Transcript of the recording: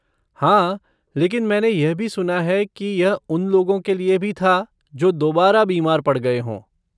हाँ, लेकिन मैंने यह भी सुना है कि यह उन लोगों के लिए भी था जो दोबारा बीमार पड़ गये हों।